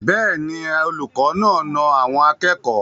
Bẹ́ẹ̀ ni, olùkọ́ náà na àwọn akẹ́kọ̀ọ́.